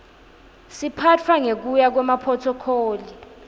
siphatfwa ngekuya kwemaphrothokholi